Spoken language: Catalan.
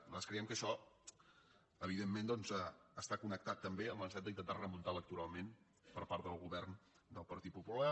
nosaltres creiem que això evidentment doncs està connectat també amb la necessitat d’intentar remuntar electoralment per part del govern del partit popular